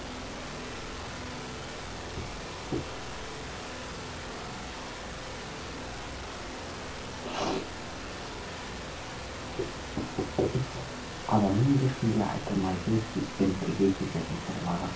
адамның ешкімге айтылмайтын сүйекпен бірге кететін сырлары болады